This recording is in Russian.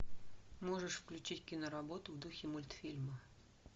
можешь включить кино работу в духе мультфильма